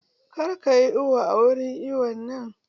Kar kayi iwo a wurin iwon nan!